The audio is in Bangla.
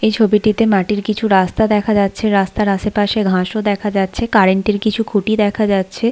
এ ছবিটিতে মাটির কিছু রাস্তা দেখা যাচ্ছে। রাস্তার আশেপাশে ঘাস ও দেখা যাচ্ছে। কারেন্ট -এর কিছু খুঁটি দেখা যাচ্ছে।